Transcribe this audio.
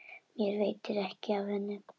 Mér veitir ekki af henni.